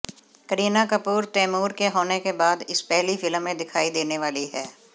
करीना कपूर तैमूर के होने के बाद इस पहली फिल्म में दिखाई देने वाली हैं